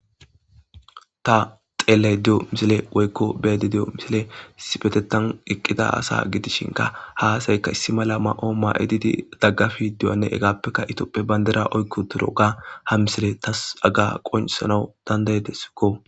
Ta xelado de'yo misiley woyikko beyayida de'yo misiley issipetteththan de'ya asa gidishinkka ha asyikka issi mala mayo mayidi dagafidone hegafekka Ethiopia bandira oyki utidoga haga misiley tas qoncisana dandayidesikko